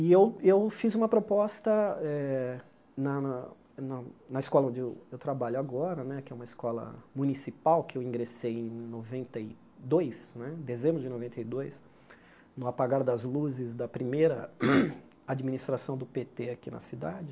E eu e eu fiz uma proposta eh na na na na escola onde eu eu trabalho agora, que é uma escola municipal, que eu ingressei em noventa e dois né, em dezembro de noventa e dois, no apagar das luzes da primeira administração do pê tê aqui na cidade.